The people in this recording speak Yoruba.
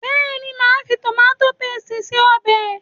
Bẹ́ẹ̀ni, màá fi tòmátó pésìtì ṣe ọbẹ̀